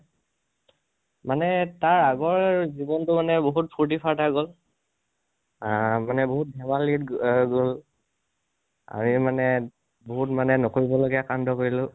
মানে তাৰ আগৰ জিৱনটো মানে বাহুত ফুৰ্তি ফাৰ্তা গল, অহ মানে বাহুত ধেমালীত অহ গল। আমিমানে বাহুত মানে নকৰিবলগিয়া কান্দ কৰিলোঁ।